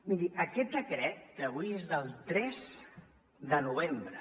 miri aquest decret d’avui és del tres de novembre